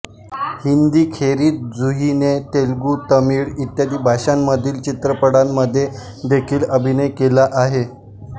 हिंदीखेरीज जुहीने तेलुगू तमिळ इत्यादी भाषांमधील चित्रपटांमध्ये देखील अभिनय केला आहे